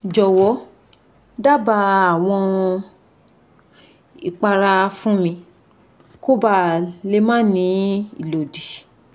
jowo daba awon ipara fun mi koba le ma ni ilodi